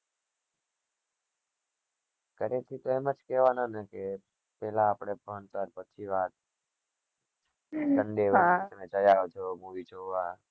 ઘર થી તો એમ જ કેહવાના ને પીલા આપડે ભણતર પછી વાત જયા કરો movie જોવા